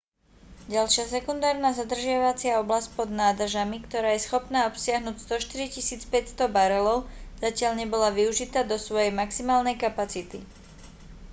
ďalšia sekundárna zadržiavacia oblasť pod nádržami ktorá je schopná obsiahnuť 104 500 barelov zatiaľ nebola využitá do svojej maximálnej kapacity